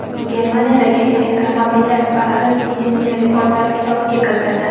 Germaniyadagi elektromobillar paradi Ginnesning Rekordlar kitobiga kiritildi .